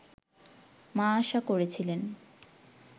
মা আশা করেছিলেন